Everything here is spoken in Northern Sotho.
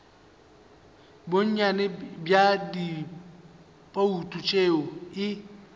bonnyane bja dibouto tše e